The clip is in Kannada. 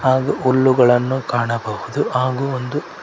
ಹಾಗು ಉಲ್ಲುಗಳನ್ನು ಕಾಣಬಹುದು ಹಾಗು ಒಂದು--